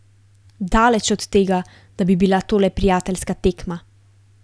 Daleč od tega, da bi bila to le prijateljska tekma.